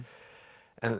en